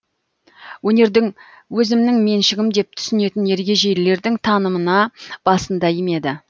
өнерді өзімнің меншігім деп түсінетін ергежейлілердің танымына басын да имеді